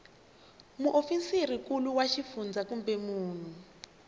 muofisirinkulu wa xifundzha kumbe munhu